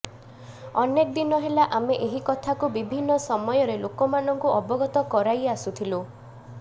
ଅନେକ ଦିନ ହେଲା ଆମେ ଏହି କଥାକୁ ବିଭିନ୍ନ ସମୟରେ ଲୋକମାନଙ୍କୁ ଅବଗତ କରାଇ ଆସୁଥିଲୁ